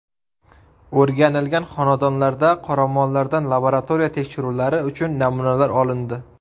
O‘rganilgan xonadonlarda qoramollardan laboratoriya tekshiruvlari uchun namunalar olindi.